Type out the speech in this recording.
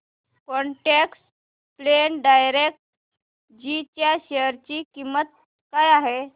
quant tax plan direct g च्या share ची किंमत काय आहे